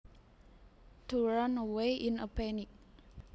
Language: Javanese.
To run away in a panic